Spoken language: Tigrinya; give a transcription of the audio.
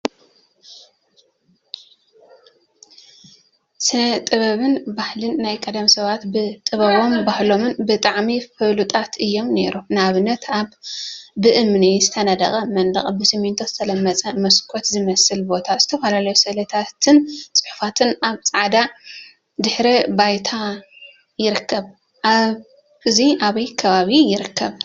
ስነ ጥበብን ባህሊን ናይ ቀደም ሰባት ብጥበቦምን ባህሎምን ብጣዕሚ ፍሉጣት እዮም ነይሮም፡፡ ንአብነት አብ ብእምኒ ዝተነደቀ መንደቅ ብስሚንቶ ዝተለመፀ መስኮት ዝመስል ቦታ ዝተፈላለዩ ስእሊታትን ፅሑፋትን አብ ፃዕዳ ድሕረ ባይታ ይርከብ፡፡ እዚ አበይ ከባቢ ይርከብ?